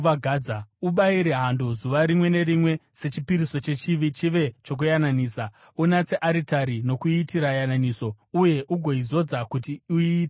Ubayire hando zuva rimwe nerimwe sechipiriso chechivi chive chokuyananisa. Unatse aritari nokuiitira yananiso, uye ugoizodza kuti uiite tsvene.